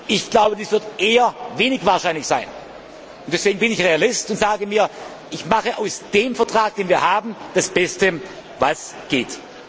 ist? Ich glaube, das wird eher wenig wahrscheinlich sein. Deswegen bin ich Realist und sage, ich mache aus dem Vertrag, den wir haben, das Beste, was